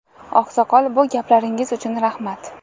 Oqsoqol, bu gaplaringiz uchun rahmat.